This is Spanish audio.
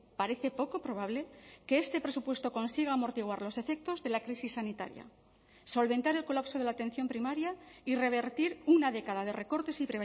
parece poco probable que este presupuesto consiga amortiguar los efectos de la crisis sanitaria solventar el colapso de la atención primaria y revertir una década de recortes y